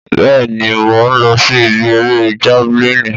Bẹ́ẹ̀ni mò ń lọ sí ibi eré javẹlínì